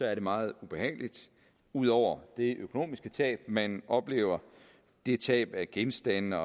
er det meget ubehageligt ud over det økonomiske tab man oplever det tab af genstande